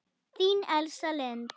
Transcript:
Þín Elsa Lind.